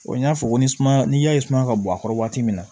n y'a fɔ ni suma n'i y'a ye suma ka bɔ a kɔrɔ waati min na